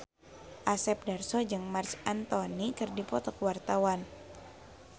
Asep Darso jeung Marc Anthony keur dipoto ku wartawan